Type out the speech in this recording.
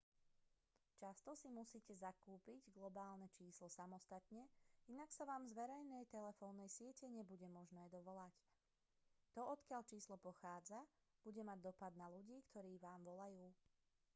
často si musíte zakúpiť globálne číslo samostatne inak sa vám z verejnej telefónnej siete nebude možné dovolať to odkiaľ číslo pochádza bude mať dopad na ľudí ktorí vám volajú